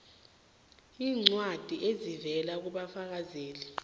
iincwadi ezivela kubafakazeli